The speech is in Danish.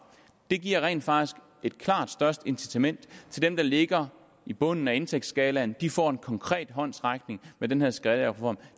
det giver rent faktisk et klart større incitament til dem der ligger i bunden af indtægtsskalaen de får en konkret håndsrækning med den her skattereform